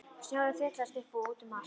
Snjórinn þyrlaðist upp og út um allt.